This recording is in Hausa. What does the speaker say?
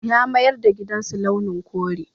Ya mayar da gidansu launin kore.